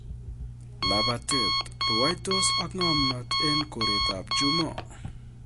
Lapatet:rwaitos ak ngomnot eng koret ap chumo